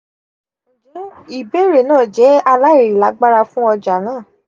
njẹ ibeere naa jẹ alailagbara fun ọja naa?